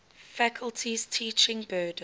faculty's teaching burden